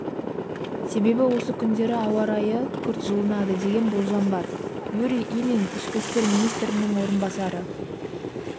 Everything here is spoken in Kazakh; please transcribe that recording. себебі осы күндері ауа райы күрт жылынады деген болжам бар юрий ильин ішкі істер министрінің орынбасары